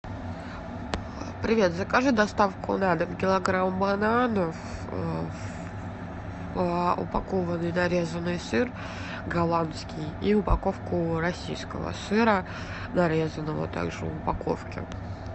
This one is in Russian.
привет закажи доставку на дом килограмм бананов упакованный нарезанный сыр голландский и упаковку российского сыра нарезанного также в упаковке